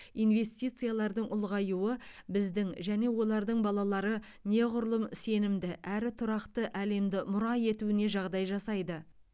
инвестициялардың ұлғаюы біздің және олардың балалары неғұрлым сенімді әрі тұрақты әлемді мұра етуіне жағдай жасайды